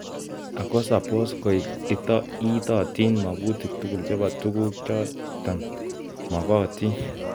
Ako sabos koek itatatin makutik tugul che bo tukuk chotok mokotin.